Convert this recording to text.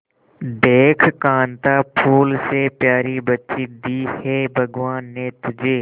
देख कांता फूल से प्यारी बच्ची दी है भगवान ने तुझे